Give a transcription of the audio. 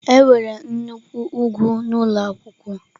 Enwere nnukwu ugwu n'ụlọ akwụkwọ m.